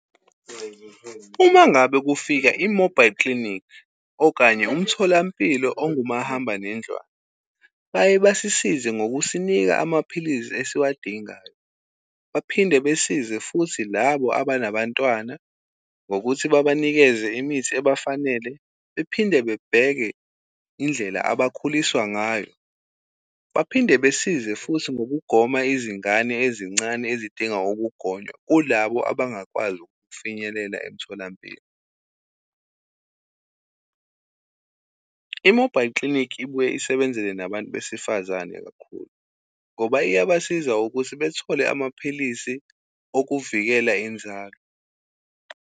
Uma ngabe kufika i-mobile clinic okanye umtholampilo ongumahamba nendlwana, baye basisize ngokusinika amaphilisi esiwadingayo. Baphinde besize futhi labo abanabantwana ngokuthi babanikeze imithi ebafanele, bephinde bebheke indlela abakhuliswa ngayo. Baphinde besize futhi ngokugoma izingane ezincane ezidinga ukugonywa, kulabo abangakwazi ukufinyelela emtholampilo. I-mobile clinic ibuye isebenzele nabantu besifazane kakhulu, ngoba iyabasiza ukuthi bethole amaphilisi okuvikela inzalo.